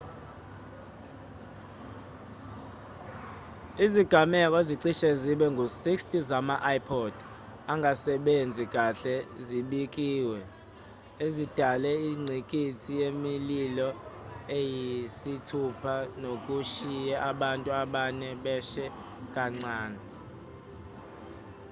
izigameko ezicishe zibe ngu-60 zama-ipod angasebenzi kahle zibikiwe ezidale ingqikithi yemililo eyisithupha nokushiye abantu abane beshe kancane